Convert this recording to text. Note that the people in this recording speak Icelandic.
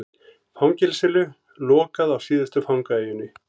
Fangelsinu lokað á síðustu fangaeyjunni